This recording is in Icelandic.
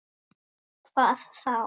Hvað þá!